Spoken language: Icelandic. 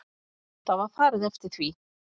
Það var farið eftir því.